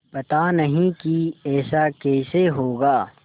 पता नहीं कि ऐसा कैसे होगा